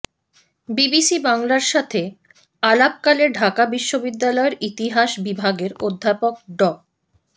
BBC বাংলার সাথে আলাপকালে ঢাকা বিশ্ববিদ্যালয়ের ইতিহাস বিভাগের অধ্যাপক ড